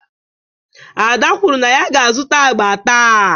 Ada kwuru na ya ga-azụta agba taa.